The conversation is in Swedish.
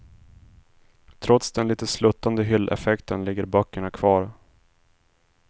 Trots den lite sluttande hylleffekten ligger böckerna kvar.